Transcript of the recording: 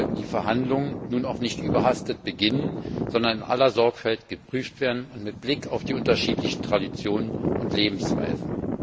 Daher sollten die Verhandlungen nun auch nicht überhastet beginnen, sondern in aller Sorgfalt geprüft werden, mit Blick auf die unterschiedlichen Traditionen und Lebensweisen.